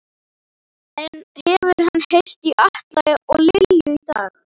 En hefur hann heyrt í Atla og Lilju í dag?